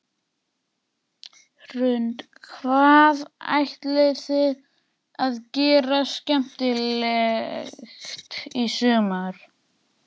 Hrund: Hvað ætlið þið að gera skemmtilegt í sumar?